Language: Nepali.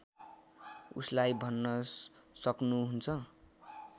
उसलाई भन्न सक्नुहुन्छ